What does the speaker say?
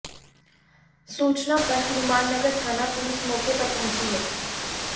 सूचना पर हनुमाननगर थाना पुलिस मौके पर पहुंची है